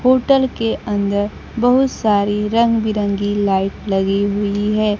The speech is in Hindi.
होटल के अंदर बहुत सारी रंग बिरंगी लाइट लगी हुई है।